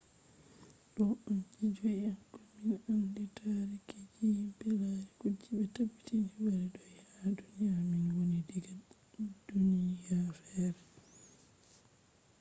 ɗo on je joi ha komin andi taariki je himɓe lari kuje ɓe tabbitini wari do’i ha duniya min woni diga duniya fere